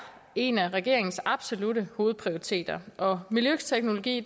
en af regeringens absolutte hovedprioriteter og miljøteknologi